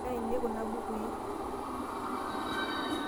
inainei kuna bukui